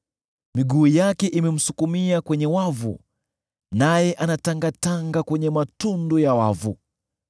Miguu yake imemsukumia kwenye wavu, naye anatangatanga kwenye matundu ya wavu.